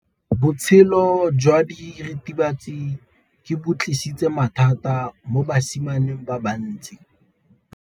Botshelo jwa diritibatsi ke bo tlisitse mathata mo basimaneng ba bantsi.